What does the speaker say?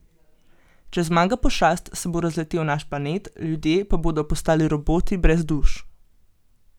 Če zmaga pošast, se bo razletel naš planet, ljudje pa bodo postali roboti brez duš.